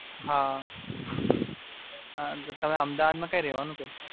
તમે અમદાવાદ માં કયા રહવાનું કયા?